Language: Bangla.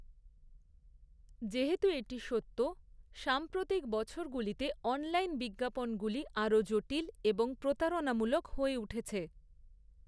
যেহেতু এটি সত্য, সাম্প্রতিক বছরগুলিতে অনলাইন বিজ্ঞাপনগুলি আরও জটিল এবং প্রতারণামূলক হয়ে উঠেছে৷